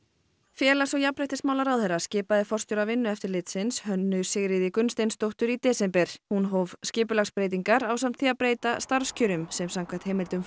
félags og jafnréttismálaráðherra skipaði forstjóra Vinnueftirlitsins Hönnu Sigríði Gunnsteinsdóttur í desember hún hóf skipulagsbreytingar ásamt því að breyta starfskjörum sem samkvæmt heimildum